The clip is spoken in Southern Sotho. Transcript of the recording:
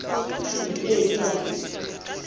e ke ke ya feta